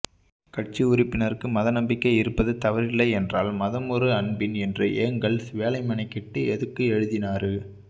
கட்சி உறுப்பினருக்கு மதநம்பிக்கை இருப்பது தவறில்லை என்றால் மதம் ஒரு அபின் என்று ஏங்கல்ஸ் வேல மெனக்கெட்டு எதுக்கு எழுதுனாரு